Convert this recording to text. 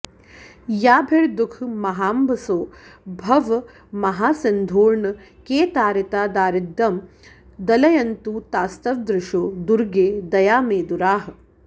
याभिर्दुःखमहाम्भसो भवमहासिन्धोर्न के तारिता दारिद्यं दलयन्तु तास्तव दृशो दुर्गे दयामेदुराः